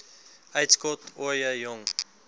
uitskot ooie jong